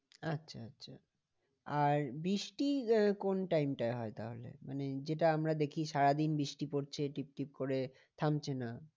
আচ্ছা আচ্ছা আর বৃষ্টি আহ কোন time টায় হয় তাহলে? মানে যেটা আমরা দেখি সারাদিন বৃষ্টি পড়ছে টিপ টিপ করে থামছে না।